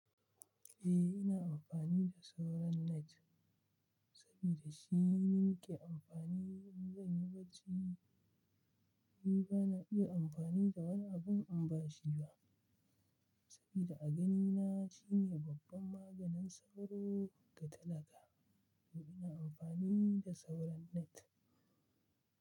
Eh ina amfani da sauran net saboda shi nake amfani in zan yi barci. Ni bana iya amfani da wani abu in ba shi ba saboda a ganina shine babban maganin sauro da talaka to ina amfani da sauran net.